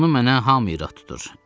Bunu mənə hamı irad tutur.